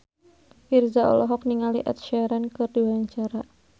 Virzha olohok ningali Ed Sheeran keur diwawancara